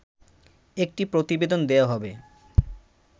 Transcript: একটি প্রতিবেদন দেয়া হবে